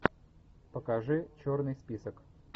покажи черный список